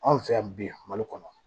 Anw fɛ yan bi mali kɔnɔ